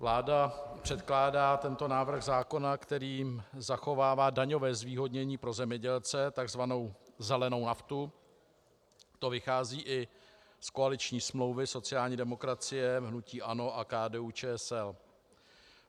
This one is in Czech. Vláda předkládá tento návrh zákona, kterým zachovává daňové zvýhodnění pro zemědělce, takzvanou zelenou naftu, to vychází i z koaliční smlouvy sociální demokracie, hnutí ANO a KDU-ČSL.